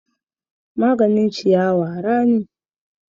Maganin ciyawa rani.